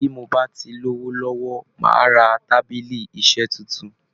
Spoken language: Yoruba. Bí mo bá ti lówó lọ́wọ́, màá ra tábìlì iṣẹ́ tuntun